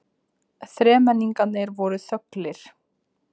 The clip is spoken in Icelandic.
Þremenningarnir voru þöglir.